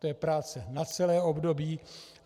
To je práce na celé období.